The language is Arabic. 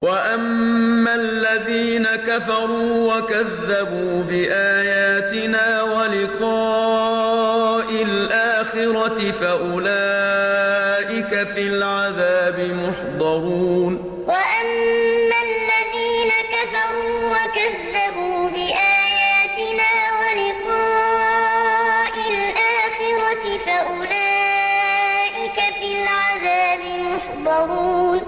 وَأَمَّا الَّذِينَ كَفَرُوا وَكَذَّبُوا بِآيَاتِنَا وَلِقَاءِ الْآخِرَةِ فَأُولَٰئِكَ فِي الْعَذَابِ مُحْضَرُونَ وَأَمَّا الَّذِينَ كَفَرُوا وَكَذَّبُوا بِآيَاتِنَا وَلِقَاءِ الْآخِرَةِ فَأُولَٰئِكَ فِي الْعَذَابِ مُحْضَرُونَ